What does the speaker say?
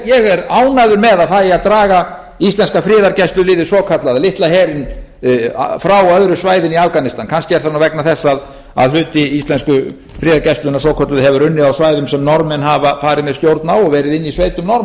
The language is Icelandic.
ég er ánægður með að það eigi að draga íslenska friðargæsluliðið svokallaða litla herinn frá öðru svæðinu í afganistan kannski er það nú vegna þess að hluti íslensku friðargæslunnar svokölluðu hefur unnið á svæðum sem norðmenn hafa farið með stjórn á og verið inni í sveitum